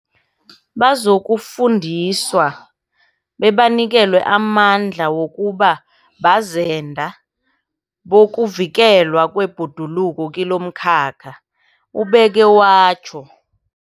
Bazokufundiswa bebanikelwe amandla wokuba bazenda bokuvikelwa kwebhoduluko kilomkhakha, ubeke watjho.